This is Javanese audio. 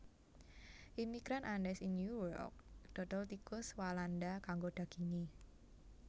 Imigran Andes ing New York dodol tikus walanda kanggo daginge